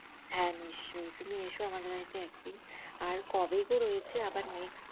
হ্যাঁ নিশ্চই তুমি এসো আমাদের বাড়িতে একদিন আর কবে গো রয়েছে আবার next